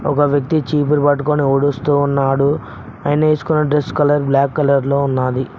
ఒక వ్యక్తి చీపురు పట్టుకొని ఊడుస్తూ ఉన్నాడు ఆయన వేసుకున్న డ్రెస్ కలర్ బ్లాక్ కలర్ లో ఉన్నది.